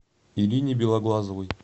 ирине белоглазовой